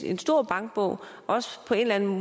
en stor bankbog også på en eller en